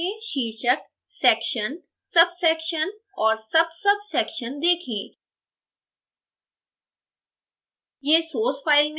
output file में शीर्षकsection subsection और subsubsection देखें